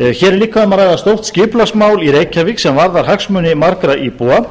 hér er líka um að ræða stórt skipulagsmál í reykjavík sem varðar hagsmuni margra íbúa